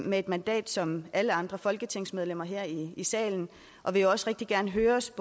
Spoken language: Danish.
med et mandat som alle andre folketingsmedlemmer her i salen og vil også rigtig gerne høres